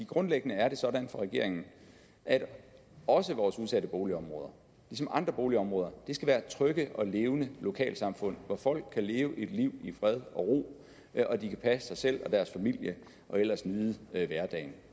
grundlæggende er det sådan for regeringen at også vores udsatte boligområder ligesom andre boligområder skal være trygge og levende lokalsamfund hvor folk kan leve et liv i fred og ro og passe sig selv og deres familie og ellers nyde hverdagen